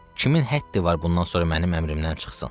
Kimin həddi var bundan sonra mənim əmrimdən çıxsın?